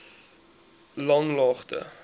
langlaagte